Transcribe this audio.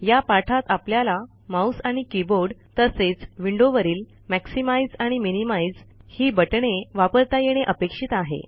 या पाठात आपल्याला माऊस आणि कीबोर्ड तसेच विंडोवरील मॅक्सिमाइझ आणि मिनिमाइझ ही बटणे वापरता येणे अपेक्षित आहे